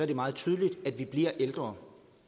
det meget tydeligt at vi bliver ældre